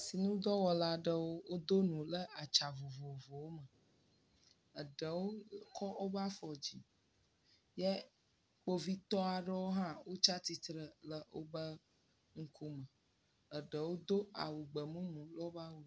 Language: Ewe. Asinudɔwɔla aɖewo wodo nu le atsa vovovowo me. Eɖewo kɔ woƒe afɔ dzi ye kpovitɔa ɖewo hã wotsia tsitre le woƒe ŋkume. Eɖewo do awu gbemumu le woƒe awu.